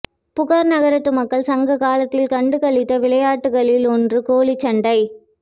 புகார் நகரத்து மக்கள் சங்ககாலத்தில் கண்டு களித்த விளையாட்டுகளில் ஒன்று கோழிச்சண்டை